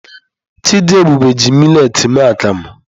Chidiebube ji miletị mee akamu.